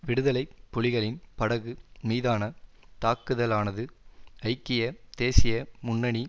விடுதலை புலிகளின் படகு மீதான தாக்குதலானது ஐக்கிய தேசிய முன்னணி